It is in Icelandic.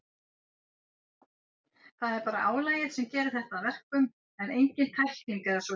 Það er bara álagið sem gerir þetta að verkum, en engin tækling eða svoleiðis.